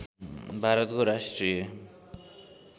भारतको राष्ट्रिय